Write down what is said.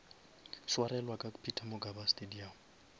swarelwa ka peter mokaba stadium